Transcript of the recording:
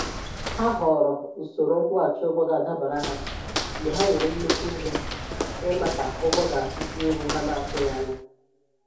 Ha họọrọ usoro nkwụghachị ụgwọ ga-adabara ha mgbe ha nwere nnukwu ihe ịmaaka ụgwọ gaasị dị elu ha n'atụghị anya.